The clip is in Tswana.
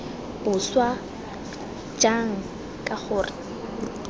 boswa jang k g r